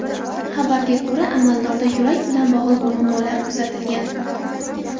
Xabarga ko‘ra, amaldorda yurak bilan bog‘liq muammolar kuzatilgan.